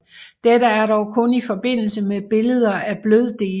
Dette er dog kun i forbindelse med billeder af bløddele